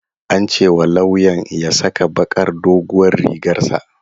An ce wa lawyan ya saka bakar doguwar rigar sa